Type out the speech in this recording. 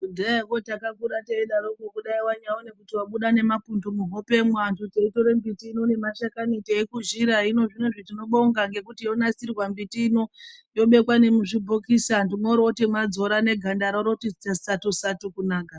Kudhayaa koo takakurawo teyidaro poo kunyakuri kuti wabuda nemapundu kuhope vantu taitore miti inemashakani teikuzira hino tinobonga nekuti yonasirwa mbiti ino yobekwa nemuzvibhokisi vandu voutema vonyaidzora voone ganda ravo roti satu satu kunaka